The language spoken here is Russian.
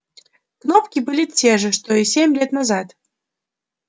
кнопки были те же что и семь лет назад